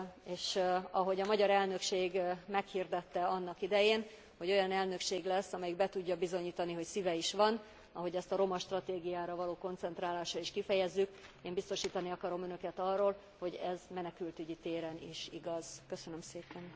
És ahogy a magyar elnökség meghirdette annak idején, hogy olyan elnökség lesz, amelyik be tudja bizonyítani, hogy szíve is van, ahogy azt a roma stratégiára való koncentrálással is kifejezzük, én biztosítani akarom Önöket arról, hogy ez menekültügyi téren is igaz. Köszönöm szépen!